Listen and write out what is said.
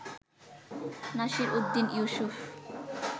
Nasir Uddin Yusuf